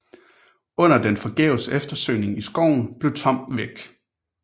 Under den forgæves eftersøgning i skoven bliver Tom væk